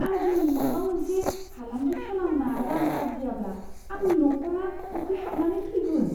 आं दिनै माबा मोनसे फालांगि खालामना रां आर्जियाब्ला आंनि नखरा उखैहाबनानै थैगोन।